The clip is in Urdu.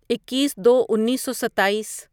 اکیس دو انیسو ستائیس